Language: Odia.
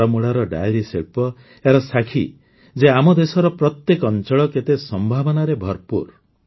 ବାରାମୂଳାର ଡେୟରି ଶିଳ୍ପ ଏହାର ସାକ୍ଷୀ ଯେ ଆମ ଦେଶର ପ୍ରତ୍ୟେକ ଅଞ୍ଚଳ କେତେ ସମ୍ଭାବନାରେ ଭରପୂର